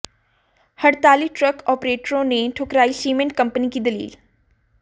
हड़ताली ट्रक आपरेटरों ने ठुकरायी सीमेंट कंपनी की दलील